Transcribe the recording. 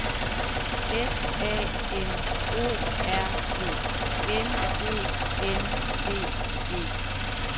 S A M O R D N E N D E